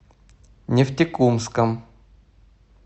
нефтекумском